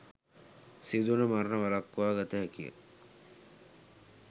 සිදුවන මරණ වලක්වා ගත හැකියි.